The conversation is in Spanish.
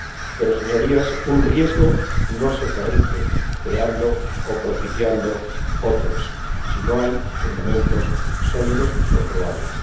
Pero, Señorías, un riesgo no se corrige creando o propiciando otros si no hay fundamentos sólidos y comprobables.